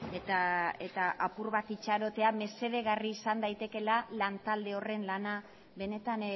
eta apur bat itxarotea mesedegarri izan daitekeela lantalde horren lana benetan